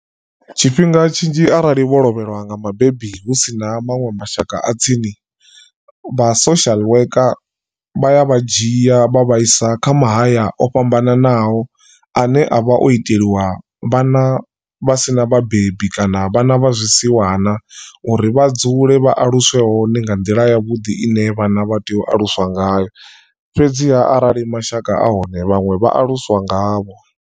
Tshifhinga tshinzhi arali vho lovhelwa nga mubebi hu sina maṅwe mashaka a tsini vha social worker vha ya vha dzhia vha vhaisa kha mahaya o fhambananaho ane a vha o iteliwa vhana vha sina vhabebi kana vhana vha zwi siwana uri vha dzule vha aluswe hone nga nḓila ya vhuḓi ine vhana vha tea u aluswa ngayo fhedziha arali mashaka ahone vhaṅwe vha aluswa ngavho.